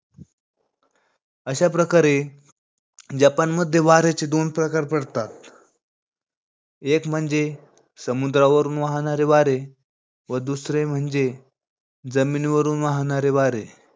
अशा प्रकारे जपानमध्ये वाऱ्याचे दोन प्रकार पडतात. एक म्हणजे समुद्रावरून वाहणारे वारे. व दुसरे म्हणजे जमीनीवरून वाहणारे वारे.